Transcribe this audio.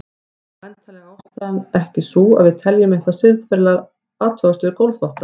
Væntanlega er ástæðan ekki sú að við teljum eitthvað siðferðilega athugavert við gólfþvotta.